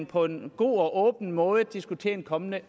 på en god og åben måde at diskutere en kommende